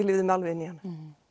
lifði mig alveg inn í hana